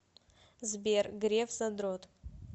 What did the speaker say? сбер греф задрот